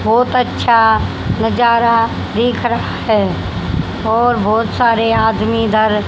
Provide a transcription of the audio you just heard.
बहुत अच्छा नजारा दिख रहा है और बहुत सारे आदमी इधर--